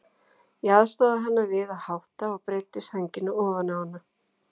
Ég aðstoðaði hana við að hátta og breiddi sængina ofan á hana.